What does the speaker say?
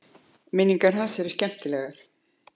Minningar hans eru skemmtilegar.